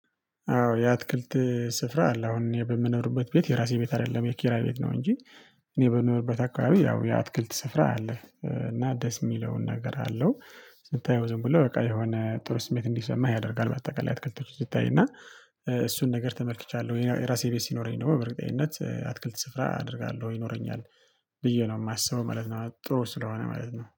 አዎ የአትክልት ስፍራ አለ አሁን በምንምኖርበት ቤት የራሴ ቤት አይደለም የኪራይ ቤት ነው እንጂ። እኔ በምኖርበት አካባቢ ያው የአትክልት ስፍራ አለ እና ደስ የሚለውን ነገር አለው። ስታየው ዝም ብሎ በቃ የሆነ ጥሩ ስሜት እንዲሰማህ ያደርጋል። በአጠቃላይ አትክልቶች ሲታይ እና። እሱን ነገር ተመልክቻለሁ የራሴ ቤት ሲኖረኝ ነው በእርግጠኝነት አትክልት ስፍራ አደርጋለሁ ይኖረኛል ብዬ ነው የማስበው ማለት ነው። ጥሩ ስለሆነ ማለት ነው